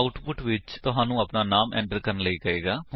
output ਵਿੱਚ ਤੁਹਾਨੂੰ ਆਪਣਾ ਨਾਮ ਐਟਰ ਕਰਨ ਲਈ ਕਹੇਗਾ